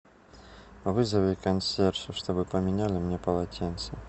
вызови консьержа чтобы поменяли мне полотенца